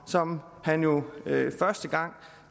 som han jo første gang